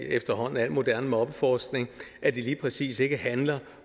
efterhånden al moderne mobbeforskning at det lige præcis ikke handler